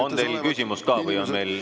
On teil küsimus ka?